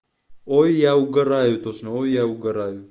ой я угораю тошно ой я угораю